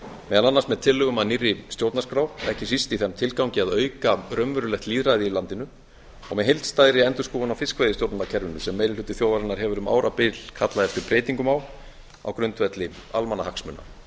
meðal annars með tillögum að nýrri stjórnarskrá ekki síst í þeim tilgangi að auka raunverulegt lýðræði í landinu og með heildstæðri endurskoðun á fiskveiðistjórnarkerfinu sem meiri hluti þjóðarinnar hefur um árabil kallað eftir breytingum á á grundvelli almannahagsmuna